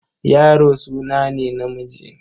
Yaro suna ne na namiji.